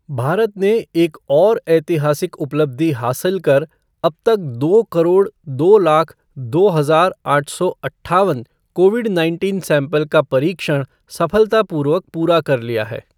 भारत ने एक और ऐतिहासिक उपलब्धि हासिल कर अब तक दो करोड़ दो लाख दो हजार आठ सौ अट्ठावन कोविड नाइटीन सैंपल का परीक्षण सफलतापूर्वक पूरा कर लिया है।